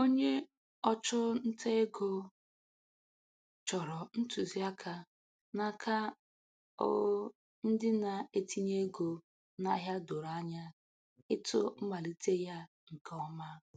Onye ọchụ nta ego chọrọ ntụziaka n'aka o ndị na- etinye ego n'ahịa doro anya ịtụ mmalite ya nke ọma.